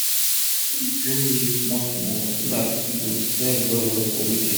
she dey tie d green leaf small small so dat e go sell well well for weekend